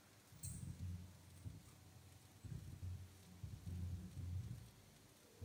manyor huduma ena sipitali inji pii amu maagira ilkitarini aabak